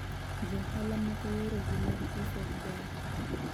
Johala moko yore gi mag uso ok ber